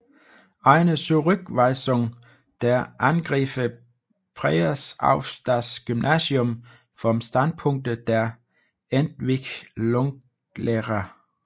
Eine Zurückweisung der Angriffe Preyers auf das Gymnasium vom Standpunkte der Entwicklungslehre